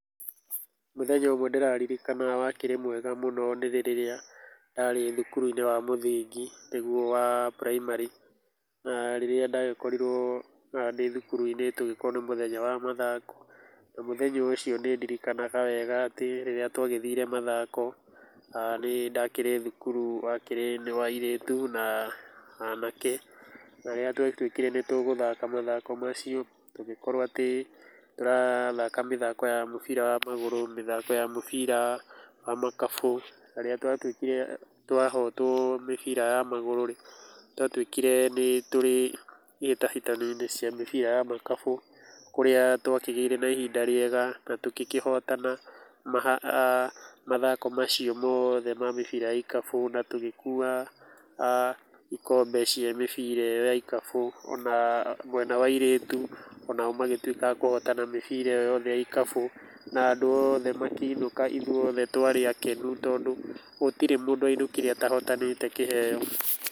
Mũthenya ũmwe ndĩraririkana wakĩrĩ mwega mũno, nĩ rĩrĩa ndarĩ thukuruinĩ wa mũthingi, nĩguo wa [primary, na rĩrĩa ndagĩkorirwo ndĩthukuru - inĩ tũgĩkorwo nĩ mũthenya wa mathako, na mũthenya ũcio nĩ ndirikanaga wega atĩ rĩrĩa twagĩthire mathako, nĩ ndakĩrĩ thukuru wa kĩrĩ nĩ wa airĩtu na anake, na rĩrĩa twatwĩkire nĩ tũgũthaka mathako macio, tũgĩkorwo atĩ tũrathaka mĩthako ya mũbira ya magũrũ, mĩthako ya mũbira wa makabũ, na rĩrĩa twatwĩĩkire twahotwo mibira ya magũrorĩ, nĩ twatwĩkire nĩ tũrĩ, ihĩtahĩtano-inĩ cia mĩbira ya makabũ, kũrĩa twa kĩgĩĩre na ihinda rĩega, na tũkĩkĩhotana mathako macio moothe ma mĩbira ya ikabũ, na tũgĩkua ikombe cĩa mĩbira ĩyo ya ikabũ, ona mwena wa airĩtu, onao magĩtwĩka a kũhotana mĩbira ĩyo yothe ya ikabũ, na andũ oothe makĩinũka, ithuothe twarĩ akenu, tondũ gũtire mũndũ wainũkire atahotanĩte kĩheyo.